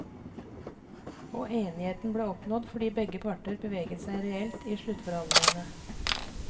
Og enigheten ble oppnådd fordi begge parter beveget seg reelt i sluttforhandlingene.